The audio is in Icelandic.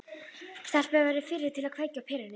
Stelpan verður fyrri til að kveikja á perunni.